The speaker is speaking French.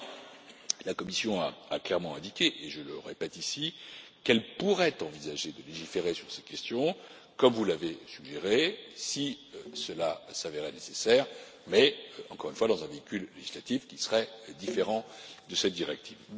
Toutefois, la Commission a clairement indiqué, et je le répète ici, qu'elle pourrait envisager de légiférer sur ces questions, comme vous l'avez suggéré, si cela s'avérait nécessaire mais, encore une fois, dans le cadre d'un instrument législatif qui serait différent de cette directive.